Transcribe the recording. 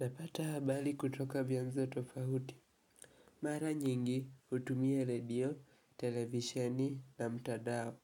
Napata habari kutoka vyanzo tofauti. Mara nyingi hutumia redio, televisheni na mtandao.